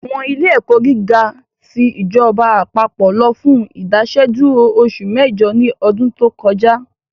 Àwọn ilé ẹ̀kọ́ gíga ti ìjọba àpapọ̀ lọ fún Ìdásẹ́dúró oṣù mẹ́jọ ní ọdún tó kọjá